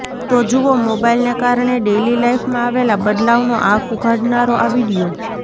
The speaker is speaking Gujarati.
તો જુઓ મોબાઈલને કારણે ડેઈલી લાઈફમાં આવેલા બદલાવનો આંખ ઉઘાડનારો આ વીડિયો